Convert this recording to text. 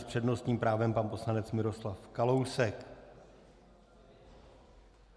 S přednostním právem pan poslanec Miroslav Kalousek.